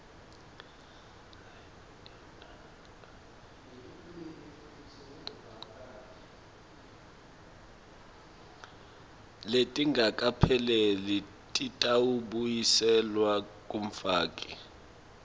letingakapheleli titawubuyiselwa kumfaki